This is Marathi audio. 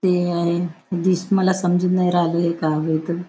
ते आहे डिश मला समजून नाही राहिले का आहे ते.